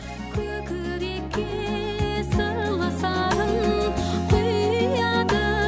көкірекке сырлы сарын құяды